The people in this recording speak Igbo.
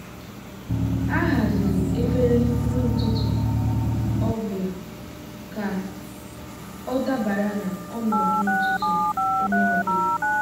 ha haziri efere nri ụtụtụ ọ bụla ka ọ dabara na ọnọdụ ụtụtụ onye ọ bụla.